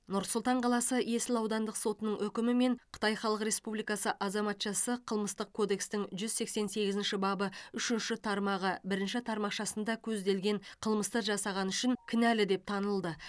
нұр сұлтан қаласы есіл аудандық сотының үкімімен қытай халық республикасы азаматшасы қылмыстық кодекстің жүз сексен сегізінші бабы үшінші тармағы бірінші тармақшасында көзделген қылмысты жасағаны үшін кінәлі деп танылды